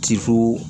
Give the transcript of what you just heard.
Tifo